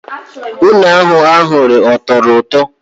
Une ahụ eghereghe ọ tọrọ ụtọ?